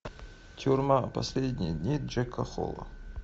тюрьма последние дни джека холла